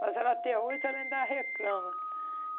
mas ela até hoje ela ainda reclama.